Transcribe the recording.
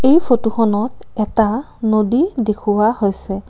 এই ফটোখনত এটা নদী দেখুওৱা হৈছে।